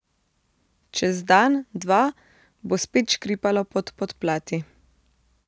Čez dan, dva, bo spet škripalo pod podplati.